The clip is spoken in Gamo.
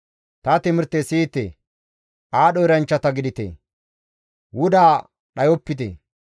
Ta timirte siyite; aadho eranchchata gidite; wuda dhayopite.